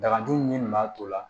Dagaju min b'a to la